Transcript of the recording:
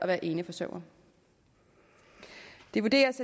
være eneforsørgere det vurderes